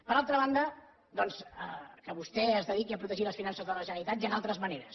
per altra banda doncs que vostè es dediqui a protegir les finances de la generalitat hi han altres maneres